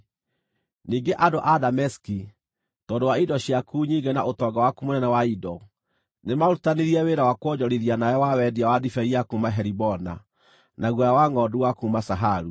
“ ‘Ningĩ andũ a Dameski, tondũ wa indo ciaku nyingĩ na ũtonga waku mũnene wa indo, nĩmarutithanirie wĩra wa kwonjorithia nawe wa wendia wa ndibei ya kuuma Helibona, na guoya wa ngʼondu wa kuuma Zaharu.